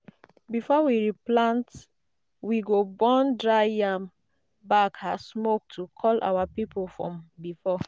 before we replant we go burn dry yam back as smoke to call our people from before.